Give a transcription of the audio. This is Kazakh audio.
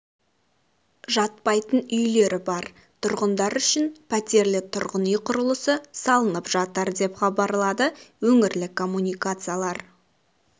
жатпайтын үйлері бар тұрғындар үшін пәтерлі тұрғын үй құрылысы салынып жатыр деп хабарлады өңірлік коммуникациялар